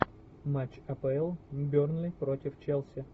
матч апл бернли против челси